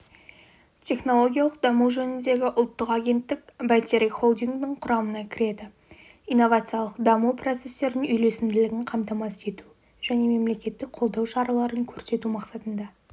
технологиялық даму жөніндегі ұлттық агенттік бәйтерек холдингінің құрамына кіреді инновациялық даму процестерінің үйлесімділігін қамтамасыз ету және мемлекеттік қолдау шараларын көрсету мақсатында